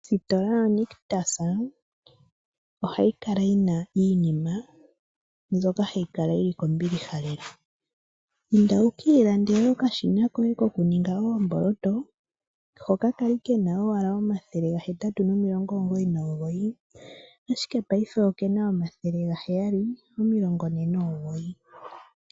Ositola yo Nictus ohayi kala yina iinima mbyoka hayi kala yina iinima yili kombiliha lela. Inda wuki ilandele okashina koye ko kuninga oomboloto hoka kali kena owala omathele ga hetatu nomilongo omugoyi nomugoyi ashike payife okena omathele ga heyali omilongo ne nomugoyi.